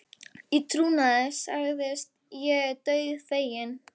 Í trúnaði sagt er ég dauðfeginn.